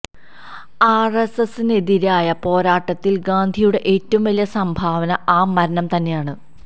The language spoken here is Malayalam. ആര് എസ് എസിനെതിരായ പോരാട്ടത്തില് ഗാന്ധിയുടെ ഏറ്റവും വലിയ സംഭാവന ആ മരണം തന്നെയാണ്